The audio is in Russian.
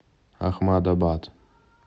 ахмадабад